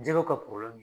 Jɛgɛw ka